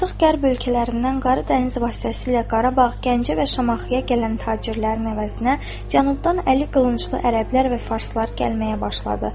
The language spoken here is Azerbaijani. Artıq qərb ölkələrindən Qara dəniz vasitəsilə Qarabağ, Gəncə və Şamaxıya gələn tacirlərin əvəzinə cənubdan əli qılınclı ərəblər və farslar gəlməyə başladı.